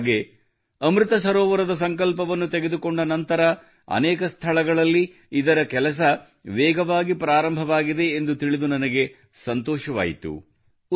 ಅಂದಹಾಗೆ ಅಮೃತ ಸರೋವರದ ಸಂಕಲ್ಪವನ್ನು ತೆಗೆದುಕೊಂಡ ನಂತರ ಅನೇಕ ಸ್ಥಳಗಳಲ್ಲಿ ಇದರ ಕೆಲಸವು ವೇಗವಾಗಿ ಪ್ರಾರಂಭವಾಗಿವೆ ಎಂದು ತಿಳಿದು ನನಗೆ ಸಂತೋಷವಾಯಿತು